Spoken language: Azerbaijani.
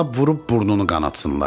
Lap vurub burnunu qanatsınlar.